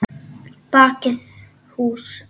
Bakið hús.